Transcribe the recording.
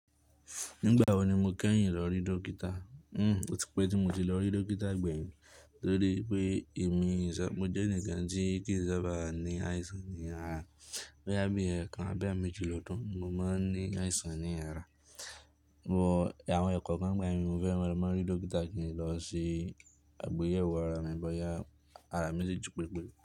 Nígbà wo ni mo kẹ́yìn lọ rí dókítà? Hmm, ó ti pẹ́ tí mo ti lọ rí dókítà gbẹ̀yìn torí pé èmi sọ, mo jẹ́ ẹnìkan tí kìí sábà ní àìsàn ní ara. Bí àbí ẹ̀ẹ̀kan abi eemeji lodun, mo máa ń ní àìsàn ní ara. But àwọn ẹ̀kankan nigba mi, mo fẹ́ mọ̀, mo rí dókítà kí n lọ sè àgbéyẹ̀wò ara mi bóyá ara mi ti ji pepé.